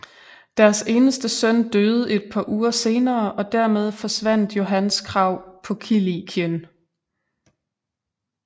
Deres eneste søn døde et par uger senere og dermed forsvandt Johans krav på Kilikien